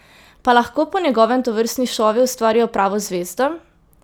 Pa lahko po njegovem tovrstni šovi ustvarijo pravo zvezdo?